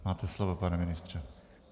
Máte slovo, pane ministře.